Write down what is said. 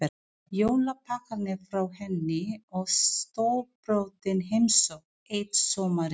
Jólapakkarnir frá henni og stórbrotin heimsókn eitt sumarið.